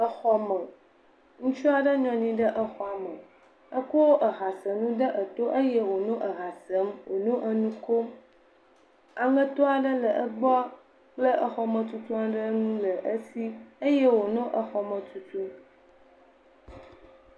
Ŋutsu nɔ anyi ɖe anyigba ehasem he dzidzɔ kpɔm elé mobstick ɖe asi exɔ ya me yi ke wòlea ele ʋi le teƒe geɖee.